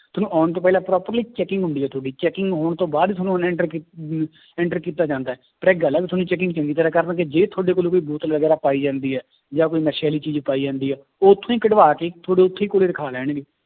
ਤੁਹਾਨੂੰ ਆਉਣ ਤੋਂ ਪਹਿਲਾਂ ਪੂਰਾ ਪਹਿਲੇ checking ਹੁੰਦੀ ਹੈ ਤੁਹਾਡੀ checking ਹੋਣ ਤੋਂ ਬਾਅਦ ਹੀ ਤੁਹਾਨੂੰ enter ਕੀ ਅਹ enter ਕੀਤਾ ਜਾਂਦਾ ਹੈ, ਪਰ ਇੱਕ ਗੱਲ ਹੈ ਵੀ ਤੁਹਾਡੀ checking ਚੰਗੀ ਤਰ੍ਹਾਂ ਕਰਨਗੇ, ਜੇ ਤੁਹਾਡੇ ਕੋਲ ਕੋਈ ਬੋਤਲ ਵਗ਼ੈਰਾ ਪਾਈ ਜਾਂਦੀ ਹੈ ਜਾਂ ਕੋਈ ਨਸ਼ੇ ਵਾਲੀ ਚੀਜ਼ ਪਾਈ ਜਾਂਦੀ ਹੈ ਉੱਥੋਂ ਹੀ ਕਢਵਾ ਕੇ ਤੁਹਾਡੇ ਉੱਥੇ ਹੀ ਕੋਲੇ ਰਖਾ ਲੈਣਗੇ।